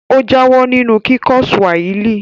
Ó jáwọ́ nínú kíkọ́ Swahili